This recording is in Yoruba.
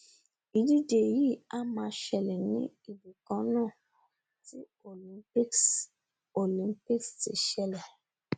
ìdíjẹ yìí a máa ṣẹlẹ ní ibìkannáà tí olympics olympics ti ṣẹlè